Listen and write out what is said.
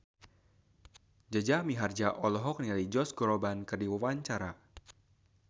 Jaja Mihardja olohok ningali Josh Groban keur diwawancara